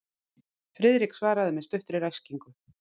Friðrik svaraði með stuttri ræskingu.